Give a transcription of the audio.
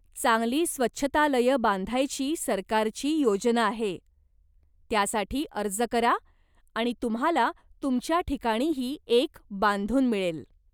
चांगली स्वच्छतालयं बांधायची सरकारची योजना आहे, त्यासाठी अर्ज करा आणि तुम्हाला तुमच्या ठिकाणीही एक बांधून मिळेल.